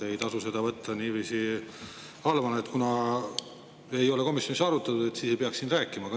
Ei tasu seda võtta niiviisi halvana, et kuna ei ole komisjonis arutatud, siis ei peakski siin rääkima.